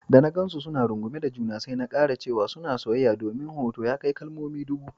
Da na gansu suna rungume da juna, sai na karasa cewa suna soyayya domin hoto ya kai kalmomi ɗubu.